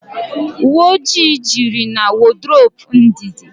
Uwe ọjị jụrụ na wodrobu Ndidi